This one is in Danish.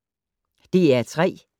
DR P3